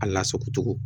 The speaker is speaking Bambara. A lasago cogo